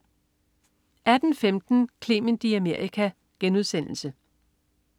18.15 Clement i Amerika*